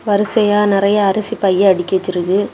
வரிசையா நெறைய அரிசி பை அடுக்கி வச்சிருக்கு.